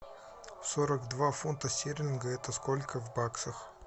сорок два фунта стерлинга это сколько в баксах